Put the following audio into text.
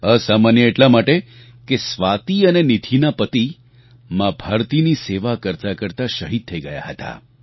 અસામાન્ય એટલા માટે કે સ્વાતિ અને નીધિના પતિ મા ભારતીની સેવા કરતાં કરતાં શહીદ થઈ ગયા હતા